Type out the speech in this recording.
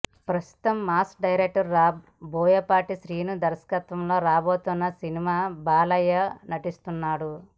ప్రస్తుతం mass director Boyapati Srinu దర్శకత్వంలో రాబోతున్న సినిమాలో బాలయ్య నటిస్తున్నాడు